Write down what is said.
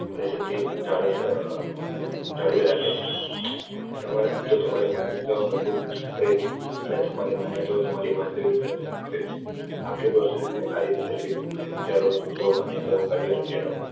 સિધ્ધી જાળવી રાખે છે તમારા શબ્દો તમારી માન્યતાઓ મુજબ રહે છે અને તમારી માન્યતાઓ તમારી વાસ્તવિકતા મુજબ કરે છે આખી process ને આ રીતે દર્શાવી શકાય વિચારો શબ્દો માં નેતાઓ કાર્યો અને પ્રેરણાંઓ